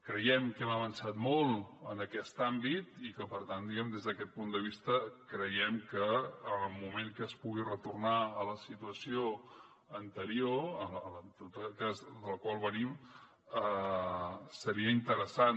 creiem que hem avançat molt en aquest àmbit i que per tant diguem ne des d’aquest punt de vista creiem que en el moment que es pugui retornar a la situació anterior que és de la qual venim seria interessant